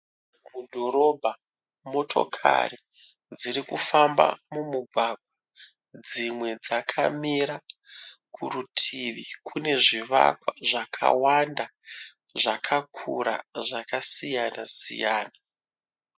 Mudhorobha. Motokari dziri kufamba mumugwagwa. Dzimwe dzakamira. Kurutivi kune zvivakwa zvakawanda, zvakakura zvakasiyana siyana.